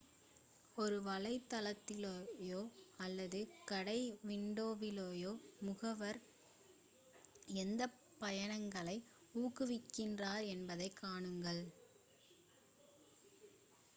ஒரு வலைத்தளத்திலோ அல்லது கடை விண்டோவிலோ முகவர் எந்த பயணங்களை ஊக்குவிக்கிறார் என்பதைப் காணுங்கள்